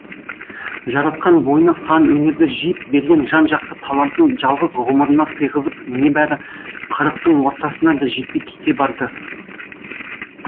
жаратқан бойына сан өнерді жиып берген жан жақты талантын жалғыз ғұмырына сыйғызып небәрі қырықтың ортасына да жетпей кете барды